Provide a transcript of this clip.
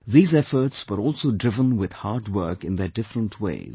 These efforts were also driven with hard work in their different ways